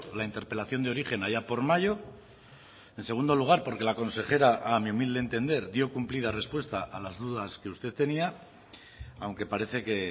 la interpelación de origen allá por mayo en segundo lugar porque la consejera a mi humilde entender dio cumplida respuesta a las dudas que usted tenía aunque parece que